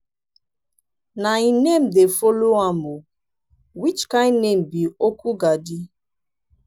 na im name dey follow am oo. which kin name be okwugadi?